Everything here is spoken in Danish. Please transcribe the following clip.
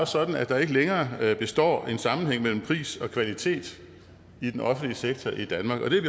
sådan at der ikke længere består en sammenhæng mellem pris og kvalitet i den offentlige sektor i danmark og det er